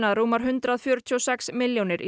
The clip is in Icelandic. að rúmar hundrað fjörutíu og sex milljónir